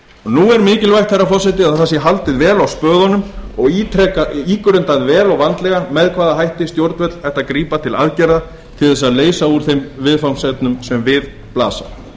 nú er mikilvægt herra forseti að það sé haldið vel á spöðunum og ígrundað vel og vandlega með hvaða hætti stjórnvöld ættu að grípa til aðgerða til að leysa úr þeim viðfangsefnum sem við blasa